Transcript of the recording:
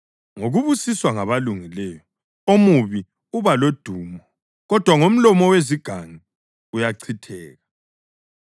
Ngokubusiswa ngabalungileyo omubi ubalodumo, kodwa ngomlomo wezigangi uyachitheka.